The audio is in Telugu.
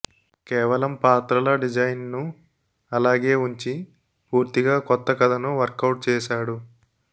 కేవలం పాత్రల డిజైన్ ను అలాగే ఉంచి పూర్తిగా కొత్త కథను వర్కౌట్ చేసాడు